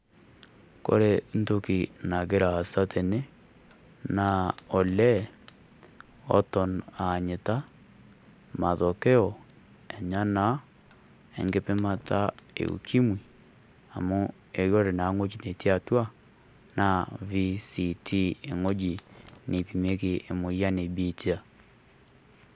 Kore ntoki nagira aasa tene naa ole otoon anyitaa matokeo enya naa enkipimata e ukimwii, amu ekore na wueji natii atua naa VCT eng'oji neipimeki emoyian e biitia.